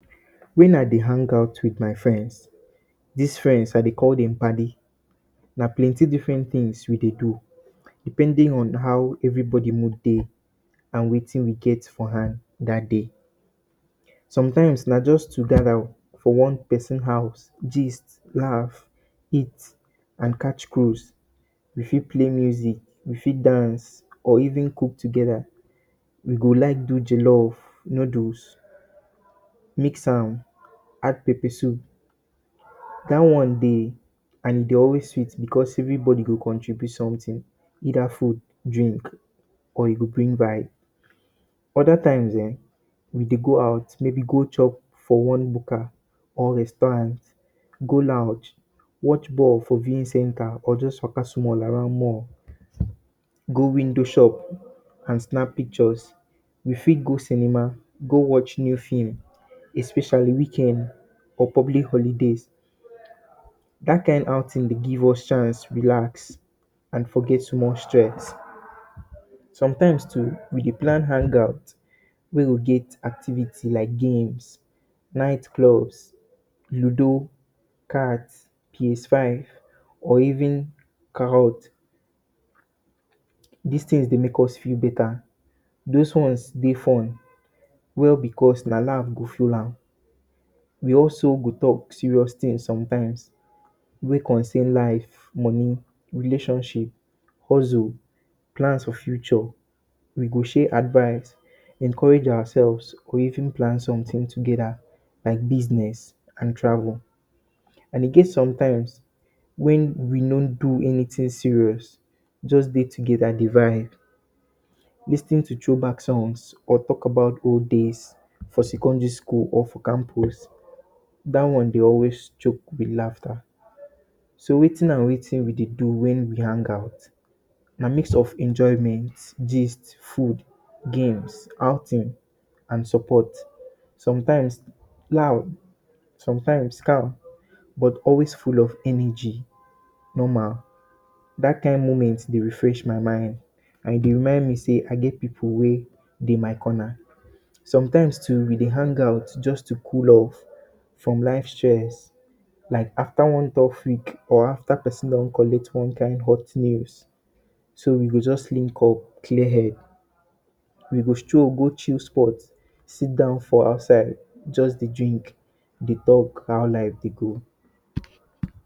When I de hang out with my friends dis friends I de call dem paddi. Na plenty different things we dey do depending on how everybody mood dey and wetin we get for hand that day. sometimes na to just gather for one person house gist, laugh, eat and catch cruise. we fit play music, we fit dance or even cook together we go like do jollof, noodles mix am add pepper soup dat one de and e de always sweet because every body de contribute something either food, drink or you go bring vibe. other times[um]we de go out maybe go chop for one bukka or restaurant, go lounge watch ball for viewing center or just waka small around mall go window shop and snap picture we fit go cinema go watch new film especially weekend or public holidays, dat kind outing de give us chance relax and forget small stress. sometimes too we dey plan hangout wey go get activities like games night clubs, ludo, cards, ps five or even Ka hoot. this things dey make us feel better, those ones dey fun well because na laugh go full am we also go talk serious things sometimes wey concern life, money, relationship, hustle, plans for future, we go share advice encourage ourselves, or even plan something together like business and travel and we get sometimes wey we no do anything serious just de together de vibes lis ten to throw back songs or talk about old days for secondary school or for campus that one de always choke with laughter so wetin and wetin we dey do when we hang out na mix of enjoyment gist food games outing and support sometimes loud sometimes calm but always full of energy normal, that kind moment de refresh my mind and e de remind me se I get pipu wey de my Conner sometimes too we de hangout just to cool off from life stress like after one don freak or after person don collect one kind hot news so we go just link up clear head wee go stroll go chill spot seat down for outside dey drink dey talk how life de go